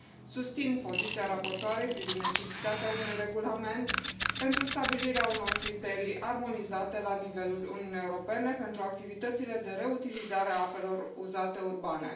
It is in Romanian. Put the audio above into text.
Susțin poziția raportoarei privind necesitatea unui regulament pentru stabilirea unor criterii armonizate la nivelul Uniunii Europene pentru activitățile de reutilizare a apelor uzate urbane.